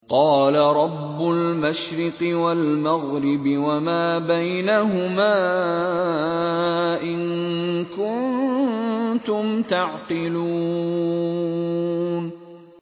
قَالَ رَبُّ الْمَشْرِقِ وَالْمَغْرِبِ وَمَا بَيْنَهُمَا ۖ إِن كُنتُمْ تَعْقِلُونَ